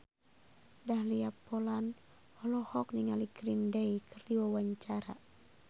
Dahlia Poland olohok ningali Green Day keur diwawancara